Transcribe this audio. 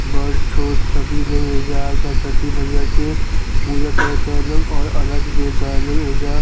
बड़ छोट सभी लोग एजा आकर छठी मईया के पूजा करता लोग और अरघ देता लोग एजा --